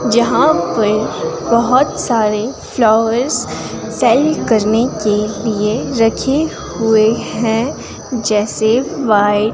यहां पर बहुत सारे फ्लावर्स सेल करने के लिए रखे हुए हैं जैसे वाइट --